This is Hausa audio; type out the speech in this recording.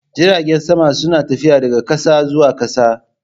Jiragen sama suna tafiya daga ƙasa zuwa ƙasa